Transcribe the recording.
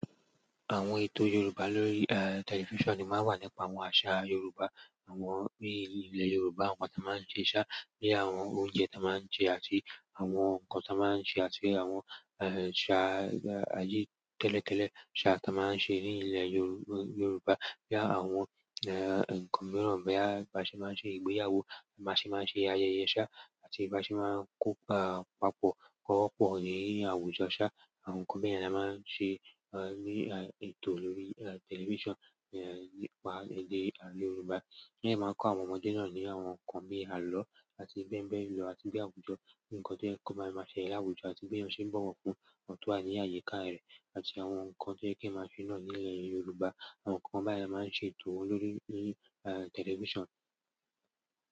Àwọn ètò Yorùbá lórí, eh, tẹlifíṣàn máa ń wo nípa àwọn àṣà Yorùbá, àwọn bí ilẹ̀ Yorùbá ń wà, ta máa ń ṣe iṣẹ́, bí àwọn oúnjẹ ta máa ń ṣe àti àwọn nǹkan ta máa ń ṣe àti àwọn, eh, àṣà ayé tẹ́lẹ̀tẹ́lẹ̀, àṣà ta máa ń ṣe ní ilẹ̀ Yorùbá. Bí àwọn, eh, eh, nǹkan mìíràn bí bá ṣe máa ń ṣe ìgbéyàwó, bá ṣe máa ń ṣe àyẹ̀ye sa àti bá ṣe máa ń kópa papọ̀ kọ́rọ́ pọ̀ ní àwùjọ. Ṣá, àwọn nǹkan bẹ́ẹ̀ la máa ń se, eh, ní, eh, ètò lórí, eh, tẹlifíṣàn, eh, nípa èdè Yorùbá. Bẹ́ẹ̀ ni a máa ń kọ́ àwọn ọmọdé náà ní àwọn nǹkan bí àlọ́ àti bẹ́bẹ́ ń lọ àti bí àwùjọ, bí nǹkan tí yẹ́ ko máa ṣe ní àwùjọ àti bí wọn ṣe ń bọ̀wọ̀ fún àwọn to wa ni àyíká rẹ̀ àti àwọn nǹkan tí yẹ́ ki ènìyàn máa ń ṣe náà ní ilẹ̀ Yorùbá. Àwọn nǹkan bayẹ́n máa ń ṣètò le lórí, eh, tẹlifíṣàn.